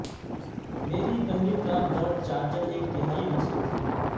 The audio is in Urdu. میری پہلی کار ڈاج چارجر ایک تہائی نسل تھی